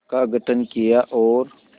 का गठन किया और